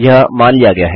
यह मान लिया गया है